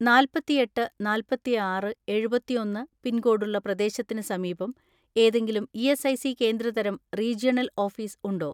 നാല്പത്തിഎട്ട് നാല്പതിആറ് എഴുപത്തിഒന്ന് പിൻകോഡുള്ള പ്രദേശത്തിന് സമീപം ഏതെങ്കിലും ഇ.എസ്.ഐ.സി കേന്ദ്ര തരം റീജിയണൽ ഓഫീസ് ഉണ്ടോ?